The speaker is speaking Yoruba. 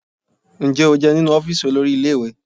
Ǹjẹ́ o jẹun nínú ọ́fíìsì olórí ilé ìwé?